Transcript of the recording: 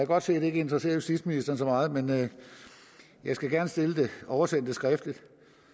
godt se det ikke interesserer justitsministeren så meget men jeg skal gerne oversende det skriftligt